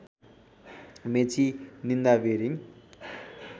मेची निन्दा बिरिङ